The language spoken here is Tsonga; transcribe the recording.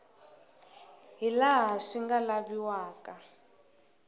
hi laha swi nga laviwaka